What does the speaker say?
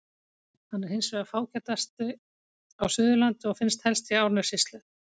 Hann er hins vegar fágætari á Suðurlandi og finnst helst í Árnessýslu.